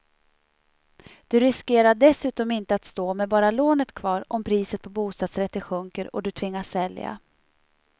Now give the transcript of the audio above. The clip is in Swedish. Du riskerar dessutom inte att stå med bara lånet kvar om priset på bostadsrätter sjunker och du tvingas sälja.